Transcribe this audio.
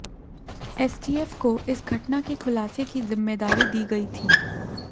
STF को इस घटना के खुलासे की जिम्मेदारी दी गई थी